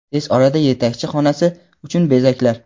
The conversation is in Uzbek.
Tez orada yetakchi xonasi uchun bezaklar.